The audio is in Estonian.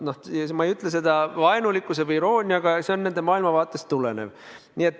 Ma ei ütle seda vaenulikult või irooniaga, see tuleneb nende maailmavaatest.